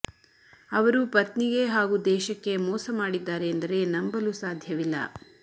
ಅವರು ಪತ್ನಿಗೆ ಹಾಗೂ ದೇಶಕ್ಕೆ ಮೋಸ ಮಾಡಿದ್ದಾರೆ ಎಂದರೆ ನಂಬಲು ಸಾಧ್ಯವಿಲ್ಲ